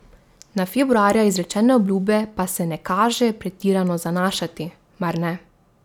Na februarja izrečene obljube pa se ne kaže pretirano zanašati, mar ne?